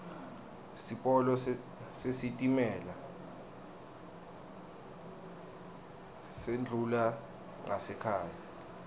sipolo sesitimela sendlula ngasekhaya